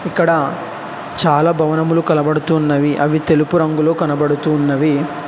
ఇక్కడ చాలా భవనములు కనబడుతున్నవి అవి తెలుపు రంగులో కనబడుతున్నది.